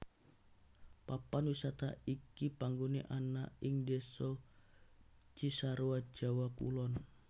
Papan wisata iki panggoné ana ing Désa Cisarua Jawa Kulon